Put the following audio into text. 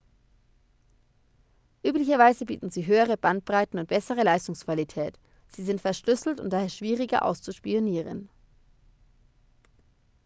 üblicherweise bieten sie höhere bandbreiten und bessere leistungsqualität sie sind verschlüsselt und daher schwieriger auszuspionieren